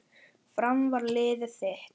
Fram var liðið þitt.